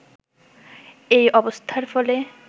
এই অবস্থার ফলে